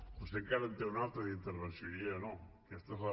vostè encara en té una altra d’intervenció jo ja no aquesta és la